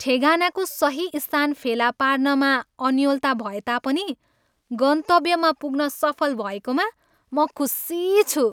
ठेगानाको सही स्थान फेला पार्नमा अन्योलता भएता पनि, गन्तव्यमा पुग्न सफल भएकोमा म खुसी छु।